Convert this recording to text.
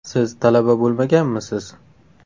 Siz talaba bo‘lmaganmisiz?